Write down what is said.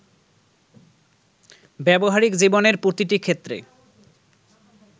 ব্যবহারিক জীবনের প্রতিটি ক্ষেত্রে